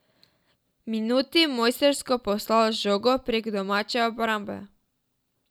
Minuti mojstrsko poslal žogo prek domače obrambe.